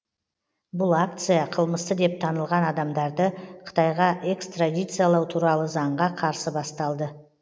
бұл акция қылмысты деп танылған адамдарды қытайға экстрадициялау туралы заңға қарсы басталды